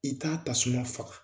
I t'a tasuma faga